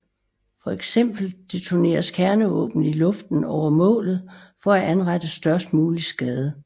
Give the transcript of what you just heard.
Fx detoneres kernevåben i luften over målet for at anrette størst mulig skade